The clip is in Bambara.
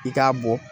I k'a bɔ